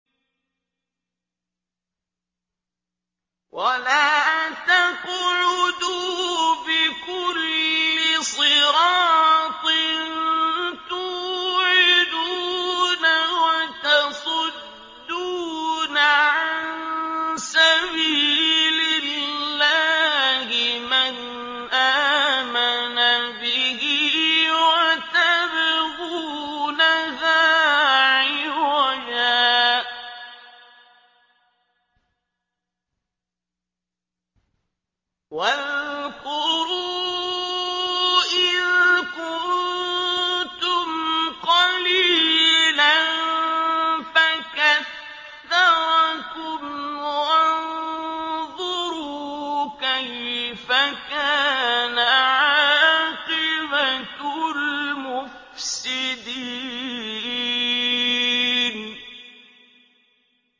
وَلَا تَقْعُدُوا بِكُلِّ صِرَاطٍ تُوعِدُونَ وَتَصُدُّونَ عَن سَبِيلِ اللَّهِ مَنْ آمَنَ بِهِ وَتَبْغُونَهَا عِوَجًا ۚ وَاذْكُرُوا إِذْ كُنتُمْ قَلِيلًا فَكَثَّرَكُمْ ۖ وَانظُرُوا كَيْفَ كَانَ عَاقِبَةُ الْمُفْسِدِينَ